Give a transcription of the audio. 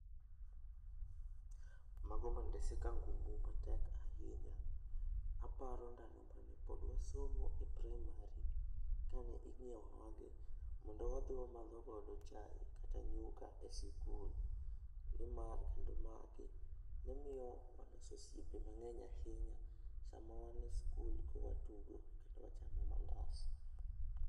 Mago mandese kangumu matek ahinya . Aparo ndalo mane pod wasomo e praimari, kane inyiewonwa gi mondo wadhi wamadho godo chai kata nyuka e sikul, nimar kendo magi ne miyo waloso osiepe mang'eny ahinya sama wan e skul ka watudo kendo wachamo mandas.